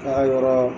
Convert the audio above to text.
K'a yɔrɔ